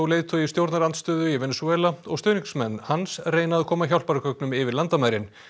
leiðtogi stjórnarandstöðu í Venesúela og stuðningsmenn hans reyna að koma hjálpargögnum yfir landamærin